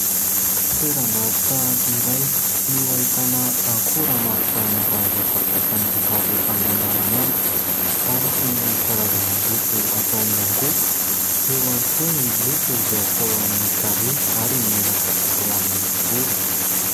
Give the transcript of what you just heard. Toeram-barotra iray no ahitana akora maro samihafa izay fampiasan'ny vehivavy amin'ny andavanandro ao ny toin' ny karazana loko atao amin'ny angovo eo ihany koa ny loko izay atao amin'ny tarehy ary ny menaka atao amin'ny volo.